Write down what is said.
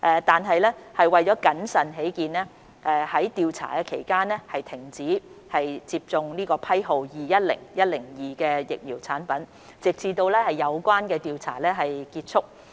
然而，為謹慎起見，在調查期間須暫停接種批號為210102的疫苗產品，直至有關調查結束。